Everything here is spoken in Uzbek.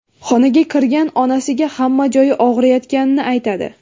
Xonaga kirgan onasiga hamma joyi og‘riyotganini aytadi.